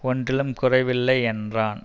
ஒன்றிலும் குறைவில்லை என்றான்